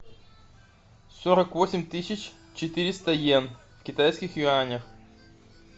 сорок восемь тысяч четыреста йен в китайских юанях